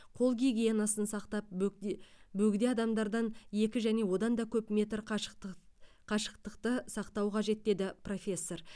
қол гигиенасын сақтап бөгде бөгде адамдардан екі және одан да көп метр қашықты қашықтықты сақтау қажет деді профессор